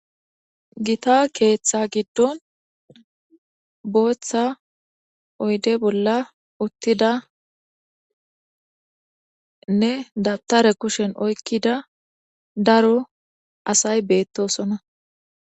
Githa keeththaa giddon booththa oyde bolla uththidanne dabthare kushen oykkida daro asay beeththoosona.